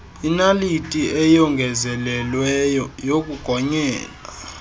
inaliti eyongezelelweyo yokugonyela